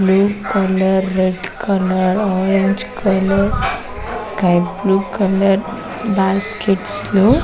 blue colour red colour orange colour sky blue colour baskets లు --